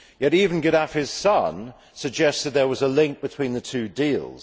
Yet even Gaddafi's son suggested that there was a link between the two deals.